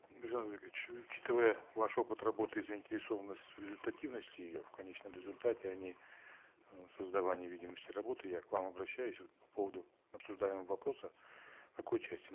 біржан учитывая ваш опыт работы и заинтересованность в результативности ее в конечном результате а не создавания видимости работы я к вам обращаюсь вот по поводу обсуждаемого вопроса в какой части